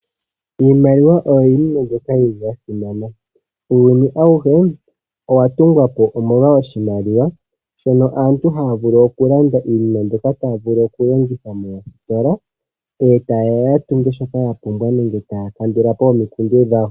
Iimaliwa oyo iinima mbyoka ya simana. Uuyuni awuhe owa tungwa po, omolwa oshimaliwa shono aantu haya vulu okulanda iinima mbyoka taya vulu okulanditha moositola e taye ya ya tunge shoka ya pumbwa nenge taya kandula po omikundu dhawo.